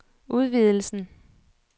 udvidelsen